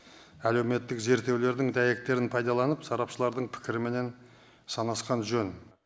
әлеуметтік зерттеулердің дәйектерін пайдаланып сарапшылардың пікіріменен санасқан жөн